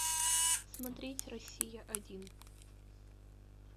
смотреть россия один